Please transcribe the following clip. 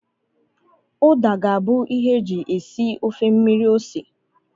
Uda ga-abụ ihe e ji esi ofe mmiri ose.